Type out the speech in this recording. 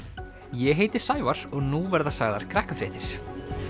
ég heiti Sævar og nú verða sagðar Krakkafréttir